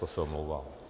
To se omlouvám.